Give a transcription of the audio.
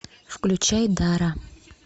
включай дара